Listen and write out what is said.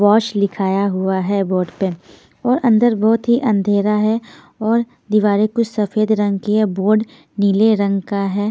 Wash लिखाया हुआ है बोर्ड पे और अंदर बहुत ही अंधेरा है और दीवारें कुछ सफेद रंग की है बोर्ड नीले रंग का है ।